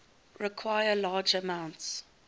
require large amounts